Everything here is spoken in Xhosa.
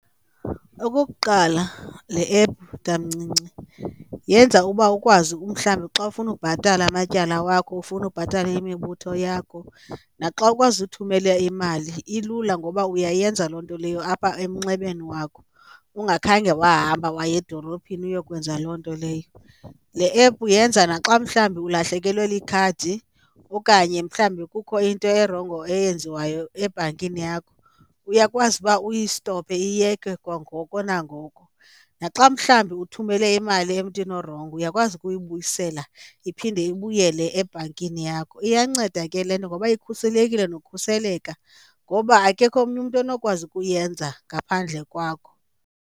Okukuqala, le app tamncinci yenza uba ukwazi umhlawumbi xa ufuna ubhatala amatyala wakho, ufuna ubhatala imibutho yakho, naxa ukwazi uthumela imali ilula ngoba uyayenza loo nto leyo apha emnxebeni wakho ungakhange wahamba waye edolophini uyokwenza loo nto leyo. Le app yenza naxa mhlawumbi ulahlekelwe likhadi okanye mhlawumbi kukho into erongo eyenziwayo ebhankini yakho uyakwazi uba uyistophe iyeke kwangoko nangoku. Naxa mhlawumbi uthumele imali emntwini orongo uyakwazi ukuyibuyisela iphinde ibuyele ebhankini yakho. Iyanceda ke le nto ngoba ikhuselekile nokukhuseleka ngoba akekho omnye umntu onokwazi ukuyenza ngaphandle kwakho.